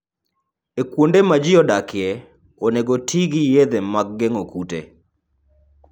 E kuonde ma ji odakie, onego oti gi yedhe mag geng'o kute.